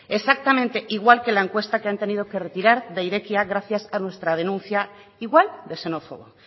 exactamente igual que la encuesta que han tenido que retirar de irekia gracias a nuestra denuncia igual de xenófoba